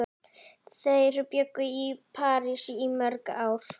Þær bjuggu í París í mörg ár.